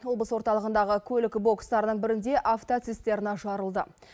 облыс орталығындағы көлік бокстарының бірінде автоцистерна жарылды